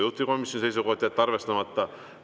Juhtivkomisjoni seisukoht: jätta arvestamata.